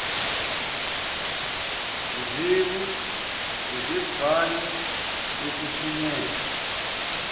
risevu bhange yokuthunyelwa